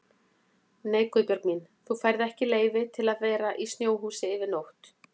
Nei Guðbjörg mín, þú færð ekki leyfi til að vera í snjóhúsi yfir nótt